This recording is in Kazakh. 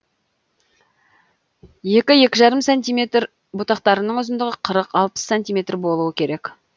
екі екі жарым сантиметр бұтақтарының ұзындығы қырық алпыс сантиметр болуы керек